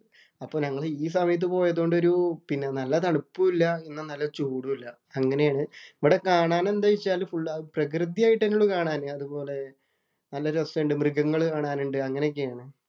അപ്പൊ ഞങ്ങള് ഈ സമയത്ത് പോയത് കൊണ്ട് ഒരു നല്ല തണുപ്പും ഇല്ല. എന്നാ നല്ല ചൂടും ഇല്ല. അങ്ങനെയാണ് ഇവിടെ കാണാനെന്താന്നു വച്ചാല്‍ ഫുള്ള് പ്രകൃതിയായിട്ട് തന്നെ ഉള്ളൂ കാണാന്. അതുപോലെ നല്ല രസമുണ്ട്. മൃഗങ്ങള് കാണാനുണ്ട്. അങ്ങനെയൊക്കെണ്.